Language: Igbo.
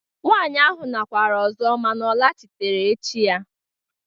Nwaanyị ahụ nakwara ọzọ mana ọ laghachitere echi ya